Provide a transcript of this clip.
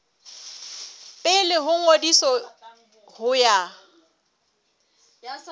pele ho ngodiso ho ya